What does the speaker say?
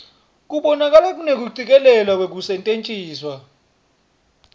kubonakala kunekucikelelwa kwekusetjentiswa